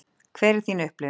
Hver er þín upplifun?